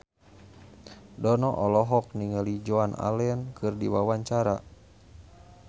Dono olohok ningali Joan Allen keur diwawancara